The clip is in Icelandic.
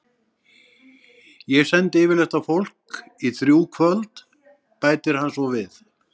Ég sendi yfirleitt á fólk í þrjú kvöld, bætir hann svo við.